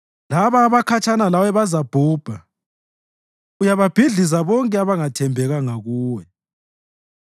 Labo abakhatshana lawe bazabhubha; uyababhidliza bonke abangathembekanga kuwe.